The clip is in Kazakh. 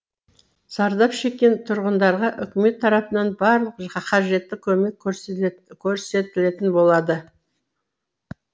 зардап шеккен тұрғындарға үкімет тарапынан барлық қажетті көмек көрсетілетін болады